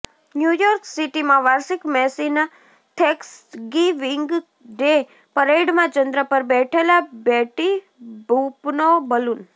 new York સિટીમાં વાર્ષિક મેસીના થેંક્સગિવીંગ ડે પરેડમાં ચંદ્ર પર બેઠેલા બેટી બુપનો બલૂન